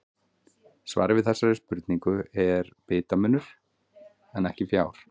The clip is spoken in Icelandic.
Svarið við þessari spurningu er bitamunur en ekki fjár.